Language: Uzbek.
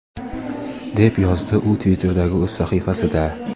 deb yozdi u Twitter’dagi o‘z sahifasida..